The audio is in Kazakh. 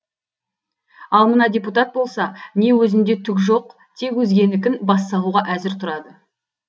ал мына депутат болса не өзінде түк жоқ тек өзгенікін бас салуға әзір тұрады